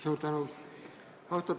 Suur tänu!